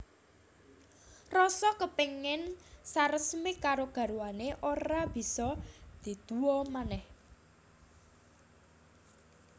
Rasa kepingin saresmi karo garwané ora bisa diduwa manèh